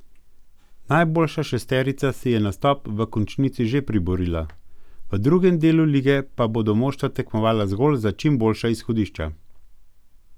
Najboljša šesterica si je nastop v končnici že priborila, v drugem delu lige pa bodo moštva tekmovala zgolj za čim boljša izhodišča.